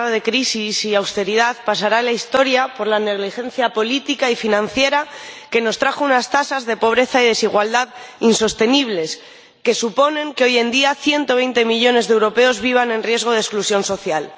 Señor Presidente, esta última década de crisis y austeridad pasará a la historia por la negligencia política y financiera, que nos trajo unas tasas de pobreza y desigualdad insostenibles, que suponen que hoy en día 120 millones de europeos vivan en riesgo de exclusión social.